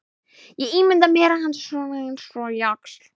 Ég ímynda mér hann svona eins og jaxl.